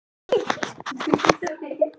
Halli var í vondri klípu, það var alveg á hreinu.